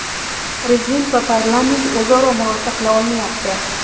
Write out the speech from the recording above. Prezident va parlament o‘zaro murosa qila olmayapti .